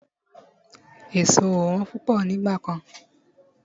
Èso ò wọ́n púpọ̀ nígbà kan.